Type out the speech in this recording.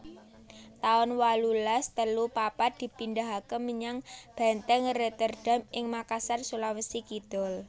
taun wolulas telu papat dipindahaké menyang Bèntèng Rotterdam ing Makassar Sulawesi Kidul